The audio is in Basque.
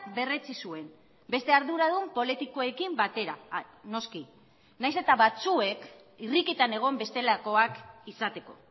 berretsi zuen beste arduradun politikoekin batera noski nahiz eta batzuek irrikitan egon bestelakoak izateko